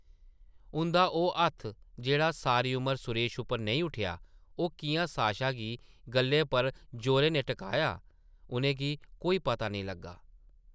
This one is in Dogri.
उंʼदा ओह् हत्थ जेह्ड़ा सारी उमर सुरेश उप्पर नेईं उट्ठेआ, ओह् किʼयां साशा दी गʼल्लै पर जोरै नै टकराया, उʼनें गी कोई पता नेईं लग्गा ।